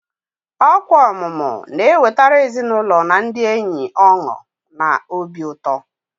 Ọkwa ọmụmụ na-ewetara ezinụlọ na ndị enyi ọṅụ na obi ụtọ.